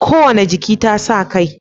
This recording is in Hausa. Kowane jiki tasa kai